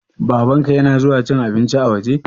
Babanka ya na zuwa cin abinci a waje?